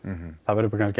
það verður kannski